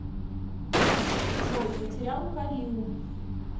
джой потерял кариу